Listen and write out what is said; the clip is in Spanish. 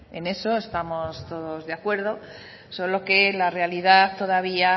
en eso estamos todos de acuerdo solo que la realidad todavía